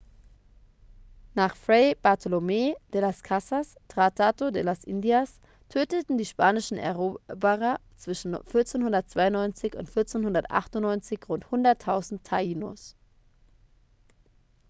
nach fray bartolomé de las casas tratado de las indias töteten die spanischen eroberer zwischen 1492 und 1498 rund 100.000 taínos